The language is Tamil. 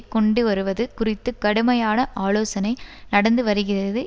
கொண்டுவருவது குறித்து கடுமையான ஆலோசனை நடந்துவருகிறது